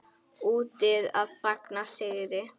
Úti að fagna sigri.